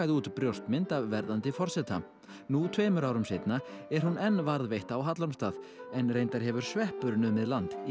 út brjóstmynd af verðandi forseta nú tveimur árum seinna er hún enn varðveitt á Hallormsstað en reyndar hefur sveppur numið land í